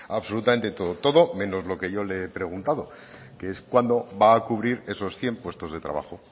absolutamente todo todo menos lo que yo le he preguntado que es cuándo va a cubrir esos cien puestos de trabajo